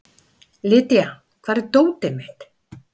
Lydia, hvar er dótið mitt?